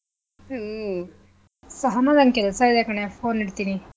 ಹ್ಮ್ ಸಹನಾ ನನ್ಗ್ ಕೆಲ್ಸಇದೆ ಕಣೆ phone ಇಡ್ತೀನಿ.